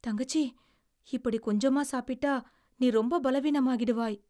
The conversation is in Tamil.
தங்கச்சி, இப்படி கொஞ்சமா சாப்பிட்டா, நீ ரொம்ப பலவீனமாகிடுவாய்.